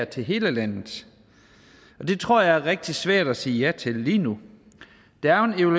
til hele landet det tror jeg er rigtig svært at sige ja til lige nu der er jo